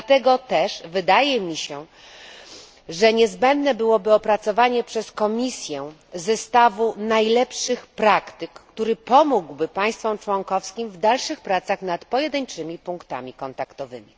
Dlatego też wydaje mi się, że niezbędne byłoby opracowanie przez komisję zestawu najlepszych praktyk, który pomógłby państwom członkowskim w dalszych pracach nad pojedynczymi punktami kontaktowymi.